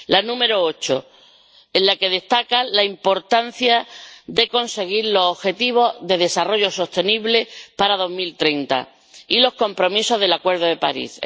La número 8, en la que destaca la importancia de conseguir los objetivos de desarrollo sostenible para 2030 y los compromisos del Acuerdo de París.